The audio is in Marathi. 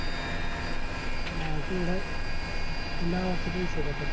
तेवडच, नावाचे पैशे घेतात